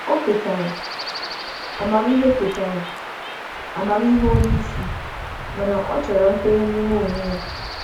Ọ kwètàrà amamihe onye isi, mana chọpụtara nkwenye site n’ịmụ onwe ya.